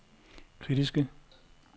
kritiske